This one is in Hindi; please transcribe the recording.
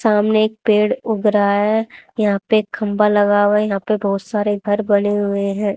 सामने एक पेड़ उग रहा है यहां पे खंबा लगा हुआ यहां पे बहुत सारे घर बने हुए हैं।